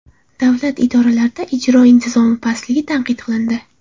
Davlat idoralarida ijro intizomi pastligi tanqid qilindi.